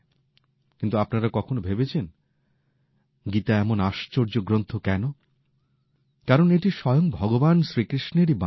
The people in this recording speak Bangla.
কিন্তু আপনারা কখনো ভেবেছেন গীতা এমন আশ্চর্য গ্রন্থ কেন কারণ এটি স্বয়ং ভগবান শ্রীকৃষ্ণেরই বাণী